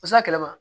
yɛlɛma